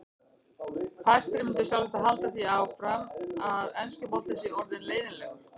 Fæstir myndu sjálfsagt halda því fram að enski boltinn sé orðinn leiðinlegur.